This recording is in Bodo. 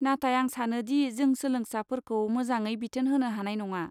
नाथाय, आं सानो दि जों सोलोंसाफोरखौ मोजाङै बिथोन होनो हानाय नङा।